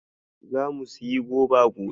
Zamu sayi goba gobe.